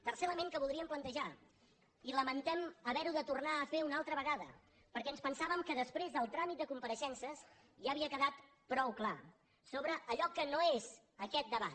tercer element que voldríem plantejar i lamentem haver ho de tornar a fer una altra vegada perquè ens pensàvem que després del tràmit de compareixences ja havia quedat prou clar sobre allò que no és aquest debat